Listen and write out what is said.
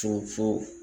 Fɔ